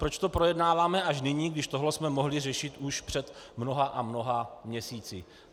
Proč to projednáváme až nyní, když tohle jsme mohli řešit už před mnoha a mnoha měsíci.